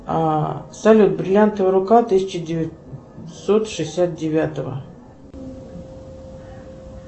а салют бриллиантовая рука тысяча девятьсот шестьдесят девятого